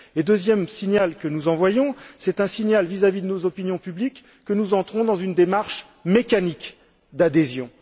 Le deuxième signal que nous envoyons, c'est un signal vis à vis de nos opinions publiques que nous entrons dans une démarche mécanique d'adhésion.